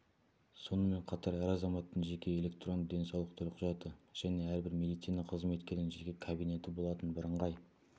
сонымен қатар әр азаматтың жеке электронды денсаулық төлқұжаты және әрбір медицина қызметкерінің жеке кабинеті болатын бірыңғай